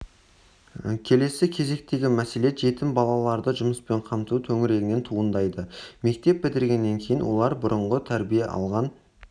келесі кезектегі мәселе жетім балаларды жұмыспен қамту төңірегінен туындайды мектеп бітіргеннен кейін олар бұрынғы тәрбие алған